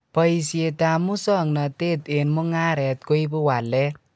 Boisietab musongnatet eng mungaret koibu walet